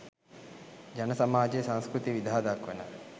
ජන සමාජයේ සංස්කෘතිය විදහා දක්වන